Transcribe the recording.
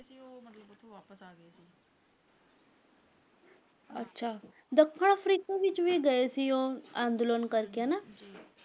ਅੱਛਾ ਦੱਖਣ ਅਫਰੀਕਾ ਵਿੱਚ ਵੀ ਗਏ ਸੀ ਉਹ ਅੰਦੋਲਨ ਕਰਕੇ ਹਨਾ?